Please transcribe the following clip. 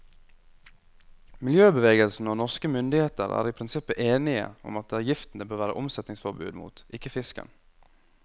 Miljøbevegelsen og norske myndigheter er i prinsippet enige om at det er giften det bør være omsetningsforbud mot, ikke fisken.